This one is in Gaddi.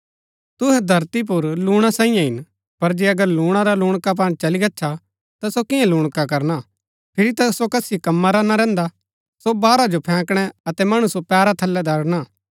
तुहै धरती पुर लूणा सांईयै हिन पर जे अगर लूणा रा लूणकापन चली गच्छा ता सो किआं लूणका करना फिरी ता सो कसी कम्मा रा ना रैहन्दा सो बाहरा जो फैंकणा अतै मणु सो पैरा थलै दरड़णा